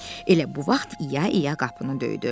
Elə bu vaxt i-ya i-ya qapını döydü.